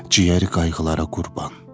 Ciyəri qayğılara qurban.